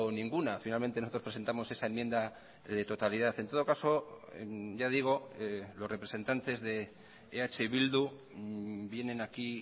ninguna finalmente nosotros presentamos esa enmienda de totalidad en todo caso ya digo los representantes de eh bildu vienen aquí